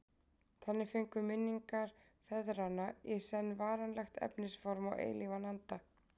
Þannig fengu minningar feðranna í senn varanlegt efnisform og eilífan anda.